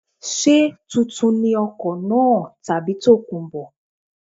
Ṣé tuntun ni ọkọ̀ náà tàbí tòkunbọ̀.